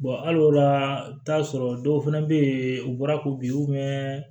hali o la i bɛ t'a sɔrɔ dɔw fana bɛ yen u bɔra ko bi